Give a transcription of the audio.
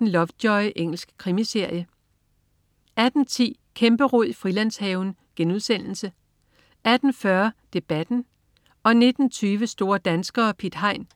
Lovejoy. Engelsk krimiserie 18.10 Kæmperod i Frilandshaven* 18.40 Debatten* 19.20 Store danskere. Piet Hein*